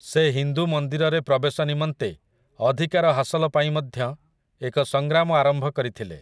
ସେ ହିନ୍ଦୁ ମନ୍ଦିରରେ ପ୍ରବେଶ ନିମନ୍ତେ ଅଧିକାର ହାସଲପାଇଁ ମଧ୍ୟ ଏକ ସଂଗ୍ରାମ ଆରମ୍ଭ କରିଥିଲେ ।